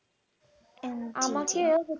আমাকেও